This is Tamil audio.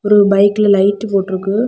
ஒரு பைக்ல லைட்டு போட்ருக்கு.